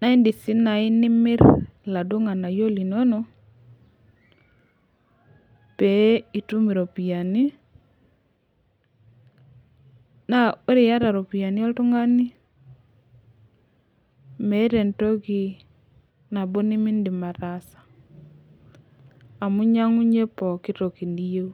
naa iiidim sii naai nimir iladuo ng'aanayio linonok pee itum iropiyiani naa ore iata iropiyiani oltung'ani meeta entoki nabo nemiidim ataasa amu inyiang'unyie pooki toki niyieu.